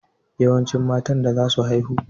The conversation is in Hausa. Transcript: Yawance matan da zasu haihu.